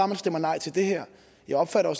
man stemmer nej til det her jeg opfatter